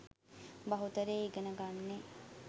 බහුතරය ඉගෙන ගන්නේ.